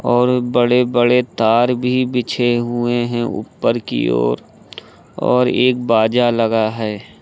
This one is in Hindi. और बड़े बड़े तार भी बिछे हुए हैं ऊपर की ओर और एक बाजा लगा है।